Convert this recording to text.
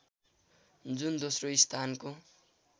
जुन दोस्रो स्थानको